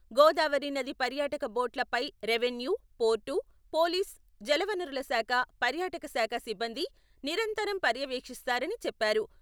గోదావరి నది పర్యాటక బోట్ల పై రెవెన్యూ, పోర్టు, పోలీసు, జలవనరుల శాఖ, పర్యాటక శాఖ సిబ్బంది నిరంతరం పర్యవేక్షిస్తారని చెప్పారు.